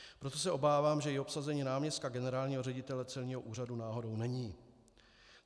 Proto se obávám, že i obsazení náměstka generálního ředitele celního úřadu náhodou není.